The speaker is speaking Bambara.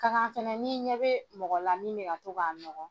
Ka kan fɛnɛ n;i ɲɛ bɛ mɔgɔ la min bɛka to k'a nɔgɔ